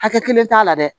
Hakɛ kelen t'a la dɛ